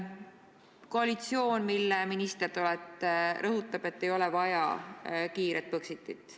Koalitsioon, mille minister te olete, rõhutab, et ei ole vaja kiiret Põxitit.